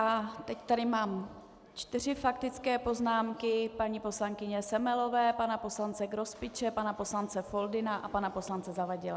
A teď tady mám čtyři faktické poznámky: paní poslankyně Semelové, pana poslance Grospiče, pana poslance Foldyny a pana poslance Zavadila.